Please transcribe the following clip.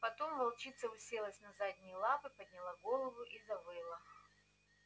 потом волчица уселась на задние лапы подняла голову и завыла